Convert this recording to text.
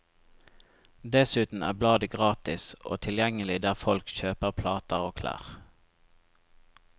Dessuten er bladet gratis og tilgjengelig der folk kjøper plater og klær.